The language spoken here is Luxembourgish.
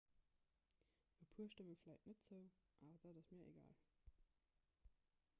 e puer stëmme vläicht net zou awer dat ass mir egal